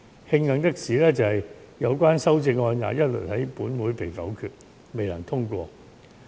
慶幸的是，有關修正案一律在本會被否決，未獲通過。